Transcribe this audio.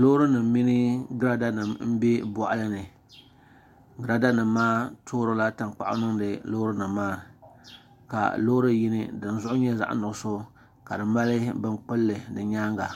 loori nima mini giraada nima m-be bɔɣili ni giraada nima maa tɔrila tankpaɣu n-niŋdi loori nima ka loori yini din zuɣu nyɛ zaɣ' nuɣisɔ ka di mali bini kpulli di nyaaga